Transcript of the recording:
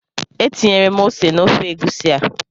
Etinyela m ose n'ofe egusi a.